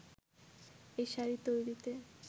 এ শাড়ি তৈরিতে